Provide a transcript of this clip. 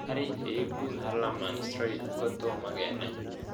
Karik he ipu Hallerman Streiff ko tomo kenai